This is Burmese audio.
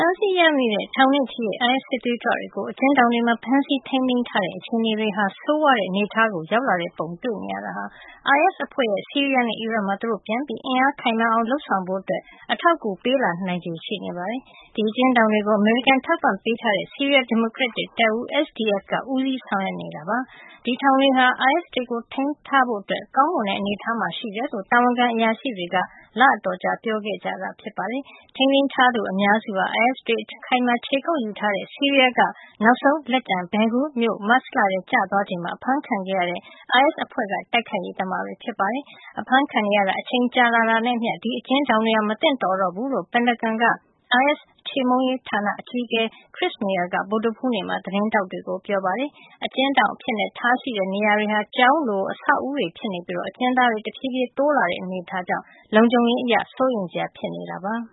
မ်းဆီးရမိတဲ့ ထောင်နဲ့ချီတဲ့ အိုင်အက်စ် စစ်သွေးကြွတွေကို အကျဉ်းထောင်တွေမှာ ဖမ်းဆီးထိမ်းသိမ်းထားတဲ့ အခြေအနေဟာ ဆိုးဝါးတဲ့ အနေထားကို ရောက်လာတဲ့ပုံ တွေ့နေရတာဟာ အိုင်အက်စ် အဖွဲ့ရဲ့ ဆီးရီးယားနဲ့ အီရတ်မှာ သူတို့ ပြန်ပြီး အင်အားခိုင်မာအောင် လုပ်ဆောင်ဖို့ အတွက် အထောက်အကူပေးလာနိုင်ချေ ရှိနေပါတယ်။ ဒီအကျဉ်းထောင်တွေကို အမေရိကန် အထောက်အပံ့ပေးထားတဲ့ဆီးရီးယား ဒီမိုကရက်တစ် တပ်ဦး SDF က ဦးစီးဆောင်ရွက်နေတာ ဖြစ်ပြီး ဒီထောင်တွေဟာ အိုင်အက်စ်တွေကို ထိန်းထားဖို့ ကောင်းမွန်တဲ့ အနေထားမှာ ရှိတယ်လို့ တာဝန်ခံအရာရှိတွေက လအတော်ကြာ ပြောခဲ့ကြတာပါ။ ထိန်းသိမ်း ထားသူ အများစုဟာ အိုင်အက်စ်တွေ အခိုင်အမာ ခြေကုပ်ယူထားတဲ့ ဆီးရီးယားက နောက်ဆုံးလက်ကျန် Baghuz မြို့မတ်လထဲ ကျသွားချိန်မှာ အဖမ်းခံခဲ့ရတဲ့ အိုင်အက်စ် အဖွဲ့က တိုက်ခိုက်ရေး သမားတွေ ဖြစ်ပါတယ်။ အဖမ်းခံနေရတာ အချိန်ကြာလာတာနဲ့ အမျှ ဒီအကျဉ်းထောင်တွေဟာ မသင့်တော်တော့ဘူးလို့ ပင်တာဂွန်က အိုင်အက်စ် ခြေမှုန်းရေး ဌာန အကြီးအကဲ Chris Maier က ဗုဒ္ဓဟူးနေ့မှာ သတင်းထောက်တွေကို ပြောပါတယ်။ အကျဉ်းထောင် လုပ်ထားတဲ့ နေရာတွေဟာ ကျောင်းလို့ ဆောက်အဦးတွေ ဖြစ်နေပြီး အ ကျဉ်းသားတွေ တဖြေးဖြေး တိုးလာတဲ့ အနေထားကြောင့် လုံခြုံရေး အရ စိုးရိမ်စရာ ဖြစ်လာနေတာပါ။